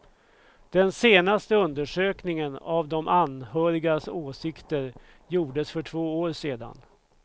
Den senaste undersökningen av de anhörigas åsikter gjordes för två år sedan.